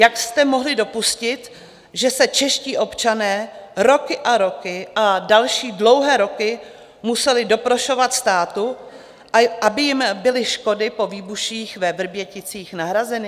Jak jste mohli dopustit, že se čeští občané roky a roky a další dlouhé roky museli doprošovat státu, aby jim byly škody po výbuších ve Vrběticích nahrazeny?